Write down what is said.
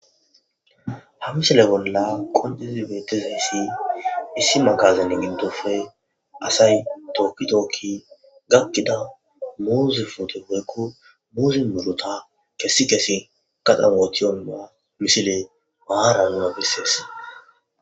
Hamisile bolla qondizi bettizayssi issi makazanne gindofe asay tookki tookki gakkida muuze foote geekko muuzin murota kessi kesi kaxamootiyonma misile maara nuna bessees.